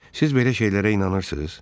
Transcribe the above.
Siz belə şeylərə inanırsız?